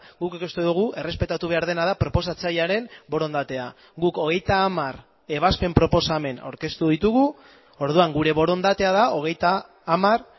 guk uste dugu errespetatu behar dena da proposatzailearen borondatea guk hogeita hamar ebazpen proposamen aurkeztu ditugu orduan gure borondatea da hogeita hamar